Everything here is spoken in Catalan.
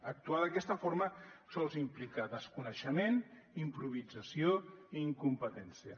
actuar d’aquesta forma sols implica desconeixement improvisació i incompetència